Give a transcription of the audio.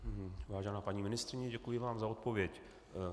Vážená paní ministryně, děkuji vám za odpověď.